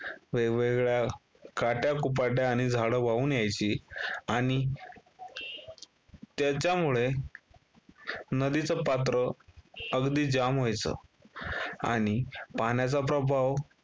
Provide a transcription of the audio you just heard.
वेगवेगळ्या काट्याकुपट्या आणि झाडं वाहून यायची आणि त्याच्यामुळे नदीचं पात्र अगदी जाम व्हायचं. आणि पाण्याचा प्रभाव